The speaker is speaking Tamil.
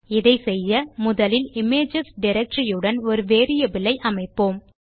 இதை செய்ய முதலில் இமேஜஸ் டைரக்டரி உடன் ஒரு வேரியபிள் ஐ அமைப்போம்